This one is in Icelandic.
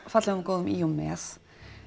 fallegum og góðum í og með